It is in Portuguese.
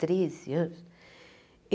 Treze anos?